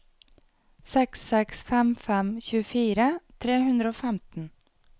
seks seks fem fem tjuefire tre hundre og femten